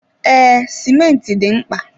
Ee, simenti dị mkpa.